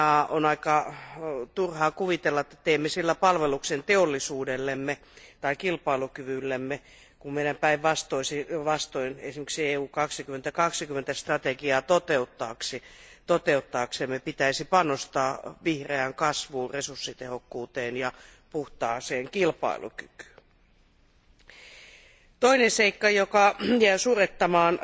On aika turha kuvitella, että teemme sillä palveluksen teollisuudellemme tai kilpailukyvyllemme, kun meidän päinvastoin esimerkiksi EU 2020 strategiaa toteuttaaksemme pitäisi panostaa vihreään kasvuun, resurssitehokkuuteen ja puhtaaseen kilpailukykyyn. Toinen seikka, joka jää surettamaan